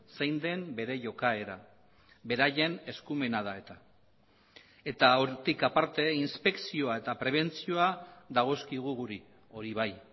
zein den bere jokaera beraien eskumena da eta eta hortik aparte inspekzioa eta prebentzioa dagozkigu guri hori bai